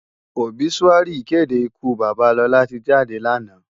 Óbisúári ìkédé ìkú baba Lola ti jádé láná.